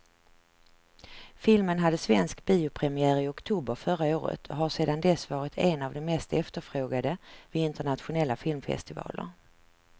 Filmen hade svensk biopremiär i oktober förra året och har sedan dess varit en av de mest efterfrågade vid internationella filmfestivaler.